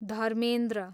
Dharmendra